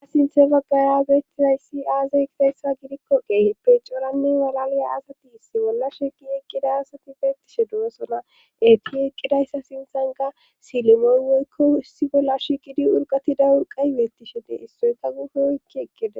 Ha sinthe baggara beettizayssi aazay gizayssa gidikko qeehe pecoranne walaliya asati issi bolla shiqi iqqida asati beettishe doosona eti eqqidayssa sinthan ga silemoon woykko issi bolla shiqidi urqatida wurqay beettishendee issoyka gufe oykki eqqeda.